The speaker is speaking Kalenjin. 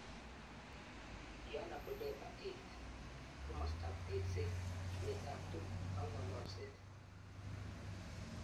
Yohana Budeba 8. Komastap Tekset, Ipet ap tukik ak ng'ololset